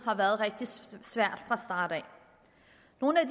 har været rigtig svært af nogle af